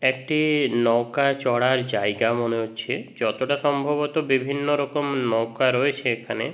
একটি - ই নৌকার চড়ার জায়গা মনে হচ্ছে। যতটা সম্ভবত বিভিন্ন রকমের নৌকা রয়েছে এখানে ।